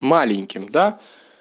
маленьким да